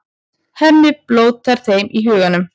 Hemmi blótar þeim í huganum.